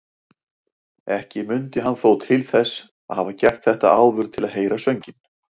Ekki mundi hann þó til þess að hafa gert þetta áður til að heyra sönginn.